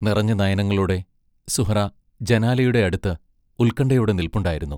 നിറഞ്ഞ നയനങ്ങളോടെ സുഹ്റാ ജനാലയുടെ അടുത്ത് ഉത്കണ്ഠയോടെ നില്പ്പുണ്ടായിരുന്നു.